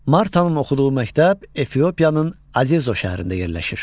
Martanın oxuduğu məktəb Efiopiyanın Azezo şəhərində yerləşir.